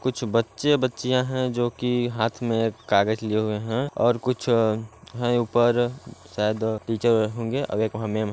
कुछ बच्चे बच्चियाँ हैं जो की हाथ मे कागज लिए हुए हैं और कुछ हैं ऊपर शायद टीचर होंगे। --